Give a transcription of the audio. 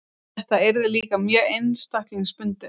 Þetta yrði líka mjög einstaklingsbundið.